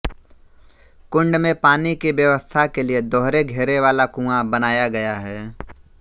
कुंड में पानी की व्यवस्था के लिये दोहरे घेरे वाला कुआँ बनाया गया है